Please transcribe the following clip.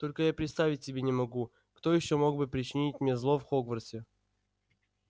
только я представить себе не могу кто ещё мог бы причинить мне зло в хогвартсе